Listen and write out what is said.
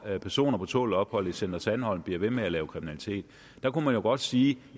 at personer på tålt ophold i center sandholm bliver ved med at lave kriminalitet der kunne man jo godt sige